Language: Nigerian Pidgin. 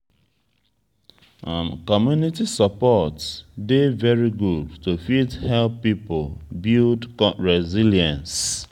community support dey very good to fit help pipo build resilience